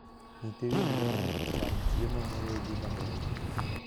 Nyithi winy dwaro ni ocham chiemo moregi maber.